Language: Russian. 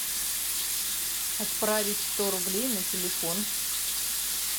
отправить сто рублей на телефон